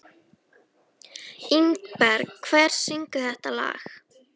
Ingberg, hver syngur þetta lag?